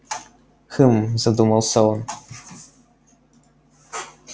хм задумался он